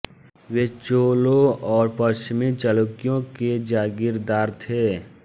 वे चोलों और पश्चिमी चालुक्यों के जागीरदार थे